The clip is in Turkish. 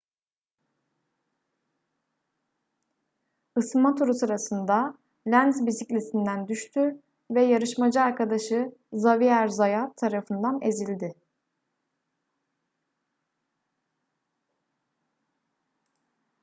isınma turu sırasında lenz bisikletinden düştü ve yarışmacı arkadaşı xavier zayat tarafından ezildi